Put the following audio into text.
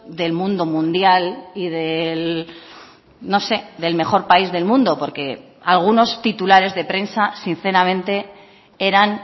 del mundo mundial y del no sé del mejor país del mundo porque algunos titulares de prensa sinceramente eran